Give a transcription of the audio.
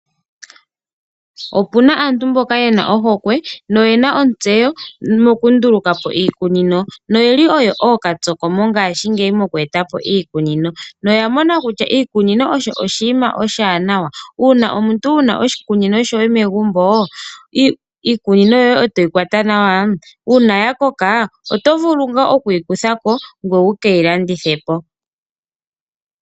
Opuna aantu mboka yena ohokwe noyena ontsewo moku ndulukapo iikunino, noyeli oyo okatsoko mongashi ngeyi mokwetapo iikunino noya mona kutya iikunino osho oshinima oshiwanawa. Una omuntu wuna oshikunino shoye megumbo etoshi kwata nawa nuna shakoko oto vulu okuyi kuthapo ngoye wu keyi landithepo.